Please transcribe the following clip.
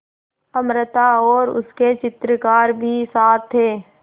अमृता और उसके चित्रकार भी साथ थे